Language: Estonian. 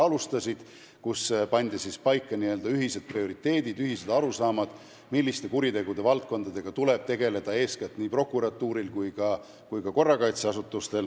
Selles pandi paika ühised prioriteedid, ühised arusaamad, milliste kuritegudega eelkõige tuleb tegeleda nii prokuratuuril kui ka korrakaitseasutustel.